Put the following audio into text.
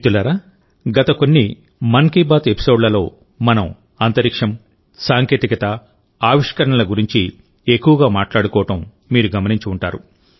మిత్రులారాగత కొన్ని మన్ కీ బాత్ ఎపిసోడ్లలో మనం అంతరిక్షం సాంకేతికత ఆవిష్కరణల గురించి ఎక్కువగా మాట్లాడుకోవడం మీరు గమనించి ఉంటారు